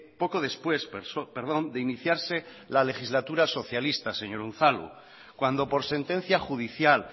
poco después de iniciarse la legislatura socialista señor unzalu cuando por sentencia judicial